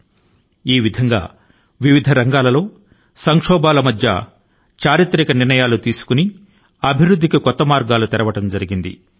అటువంటి అనేక రంగాలు ఉన్నాయి వేటిలోనయితే మన దేశం ఇన్ని అన్ని సంక్షోభాల నడమ న చరిత్రాత్మక నిర్ణయాల ను తీసుకొంటూ అభివృద్ధి తాలూకు నూతన మార్గాల ను తెరుస్తోంది